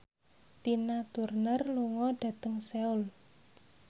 Tina Turner lunga dhateng Seoul